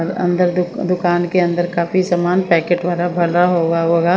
अ अंदर दुक दुकान के अंदर काफी सामान पैकेट भरा हुआ होगा।